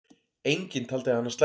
Enginn taldi hana slæma.